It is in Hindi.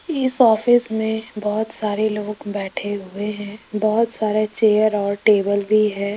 इस ऑफिस में बहोत सारे लोग बैठे हुए हैं बहोत सारे चेयर और टेबल भी हैं।